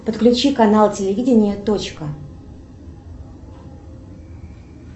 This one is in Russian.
подключи канал телевидение точка